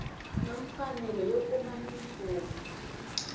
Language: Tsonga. na mfanelo yo kuma mimpfuno